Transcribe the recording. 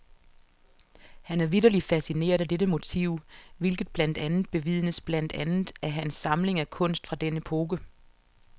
Han er vitterlig fascineret af dette motiv, hvilket blandt andet bevidnes blandt andet af hans samling af kunst fra den epoke.